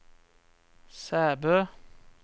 Sæbø